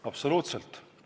Absoluutselt!